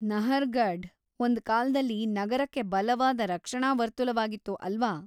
ನಹರ್‌ಗಢ್ ಒಂದ್ ಕಾಲ್ದಲ್ಲಿ ನಗರಕ್ಕೆ ಬಲವಾದ ರಕ್ಷಣಾ ವರ್ತುಲವಾಗಿತ್ತು, ಅಲ್ವಾ?